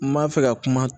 N b'a fɛ ka kuma